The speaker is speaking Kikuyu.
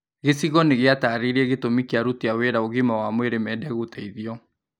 Gĩcigo nĩgĩatarĩirie gĩtũmi kia aruti wĩra a ũgima wa mwĩrĩ mende gũteithio